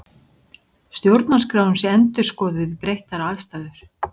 Stjórnarskráin sé endurskoðuð við breyttar aðstæður